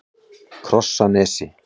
Krossanesi